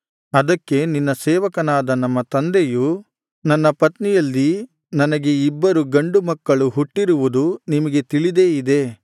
ಅದಕ್ಕೆ ನಿನ್ನ ಸೇವಕನಾದ ನಮ್ಮ ತಂದೆಯು ನನ್ನ ಪತ್ನಿಯಲ್ಲಿ ನನಗೆ ಇಬ್ಬರು ಗಂಡು ಮಕ್ಕಳು ಹುಟ್ಟಿರುವುದು ನಿಮಗೆ ತಿಳಿದೇ ಇದೆ